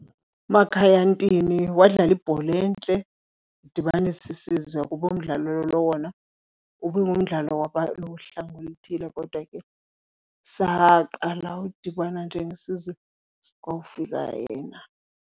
UMakhaya Ntini wadlala ibhola entle wadibanisa isizwe, kuba umdlalo lo wona ubingumdlalo wabaluhlanga oluthile kodwa ke saqala udibana njengesizwe kwawufika yena.